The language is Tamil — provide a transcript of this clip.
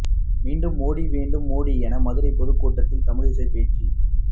மீண்டும் மோடி வேண்டும் மோடி என மதுரை பொதுக்கூட்டத்தில் தமிழிசை பேச்சு